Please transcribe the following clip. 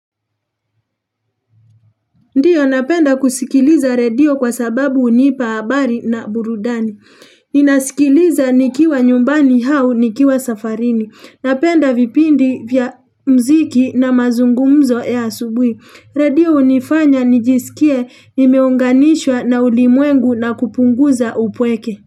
Ndiyo napenda kusikiliza redio kwa sababu hunipa habari na burudani. Ninasikiliza nikiwa nyumbani hau nikiwa safarini. Napenda vipindi vya mziki na mazungumzo ya asubui. Redio unifanya nijisikie, nimeunganishwa na ulimwengu na kupunguza upweke.